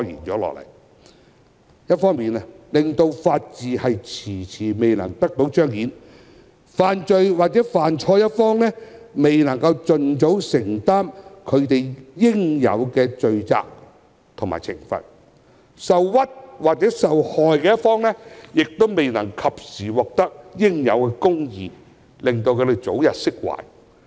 一方面，這個問題令法治遲遲未能得到彰顯，犯罪或犯錯的一方未能盡早承擔其應有的罪責及懲罰，受屈或受害的一方亦未能及時獲得應有的公義，早日釋懷。